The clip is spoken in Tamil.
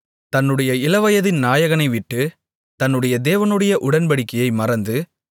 தன்னுடைய இளவயதின் நாயகனை விட்டு தன்னுடைய தேவனுடைய உடன்படிக்கையை மறந்து